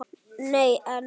Nei, en.